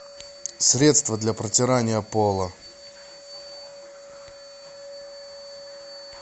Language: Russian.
средство для протирания пола